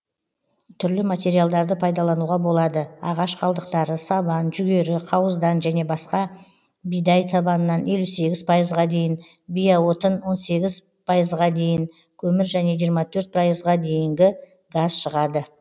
түрлі материалдарды пайдалануға болады ағаш қалдықтары сабан жүгері қауыздан және басқа бидай сабанынан елу сегіз пайызға дейін биоотын он сегіз пайызға дейін көмір және жиырма төрт пайызға дейінгі газ шығады